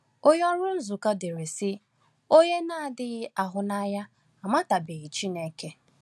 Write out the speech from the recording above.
Onye ọrụ Azuka dere, sị: “Onye na-adịghị ahụnanya amatabeghị Chineke.”